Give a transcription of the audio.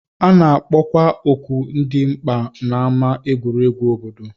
A na-akpọkwa oku dị mkpa n'ámá egwuregwu obodo